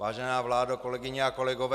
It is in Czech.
Vážená vládo, kolegyně a kolegové.